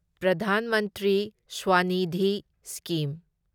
ꯄ꯭ꯔꯙꯥꯟ ꯃꯟꯇ꯭ꯔꯤ ꯁ꯭ꯋꯅꯤꯙꯤ ꯁ꯭ꯀꯤꯝ